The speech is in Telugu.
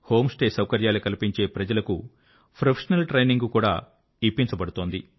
హోమ్ స్టే సౌకర్యాలు కల్పించే ప్రజలకు ప్రొఫెషనల్ ట్రైనింగ్ కూడా ఇప్పించబడుతున్నది